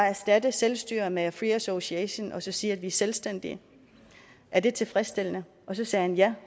erstatte selvstyre med free association og så sige at vi er selvstændige er det tilfredsstillende og så sagde han ja